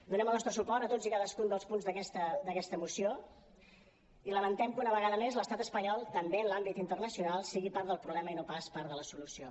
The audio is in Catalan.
donem el nostre suport a tots i cadascun dels punts d’aquesta moció i lamentem que una vegada més l’estat espanyol també en l’àmbit internacional sigui part del problema i no pas part de la solució